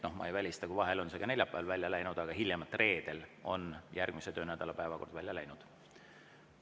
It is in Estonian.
Ma ei välista, et vahel on see ka neljapäeval välja läinud, aga hiljemalt reedel on järgmise töönädala päevakord välja läinud.